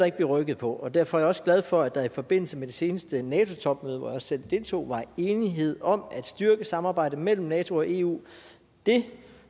ikke blive rykket på og derfor er jeg også glad for at der i forbindelse med det seneste nato topmøde hvor jeg også selv deltog var enighed om at styrke samarbejdet mellem nato og eu det